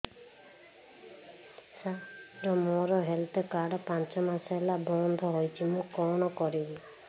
ସାର ମୋର health card ପାଞ୍ଚ ମାସ ହେଲା ବଂଦ ହୋଇଛି ମୁଁ କଣ କରିବି